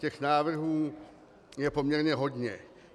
Těch návrhů je poměrně hodně.